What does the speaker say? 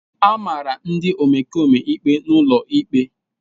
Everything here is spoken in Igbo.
A mara ndị omekome ikpe n'ụlọ ikpe.